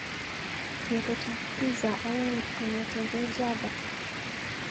Kebet pizza aeng kong'eteke Java.